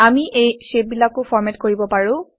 আমি এই শ্বেপবিলাকো ফৰমেট কৰিব পাৰোঁ160